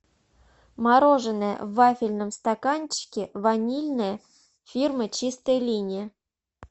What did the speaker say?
мороженое в вафельном стаканчике ванильное фирмы чистая линия